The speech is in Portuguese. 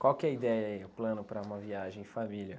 Qual que é a ideia aí, o plano para uma viagem em família?